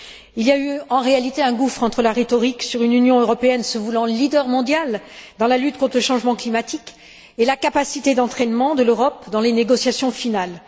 Il y a eu, en réalité, un gouffre entre la rhétorique sur une Union européenne se voulant leader mondial dans la lutte contre le changement climatique et la capacité d'entraînement de l'Europe dans les négociations finales.